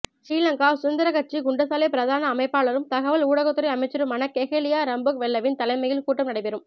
ஸ்ரீலங்கா சுதந்திரக் கட்சி குண்டசாலை பிரதான அமைப்பாளரும் தகவல் ஊடகத்துறை அமைச்சருமான கெஹெலிய ரம்புக்வெல்லவின் தலைமையில் கூட்டம் நடைபெறும்